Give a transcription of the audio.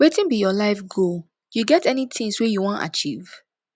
wetin be your life goal you get any tings wey you wan achieve